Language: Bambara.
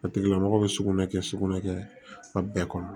A tigila mɔgɔ bɛ sugunɛ kɛ sugunɛ kɛ kɔnɔ